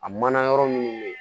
A mana yɔrɔ minnu bɛ yen